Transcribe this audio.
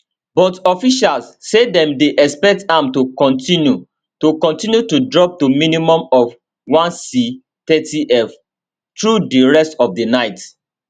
but officials say dem dey expect am to kontinu to kontinu to drop to minimum of 1c 30f through di rest of di night